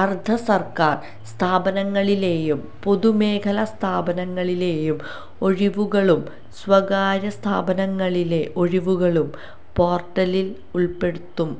അര്ധസര്ക്കാര് സ്ഥാപനങ്ങളിലെയും പൊതുമേഖലാസ്ഥാപനങ്ങളിലെയും ഒഴിവുകളും സ്വകാര്യസ്ഥാപനങ്ങളിലെ ഒഴിവുകളും പോര്ട്ടലില് ഉള്പ്പെടുത്തും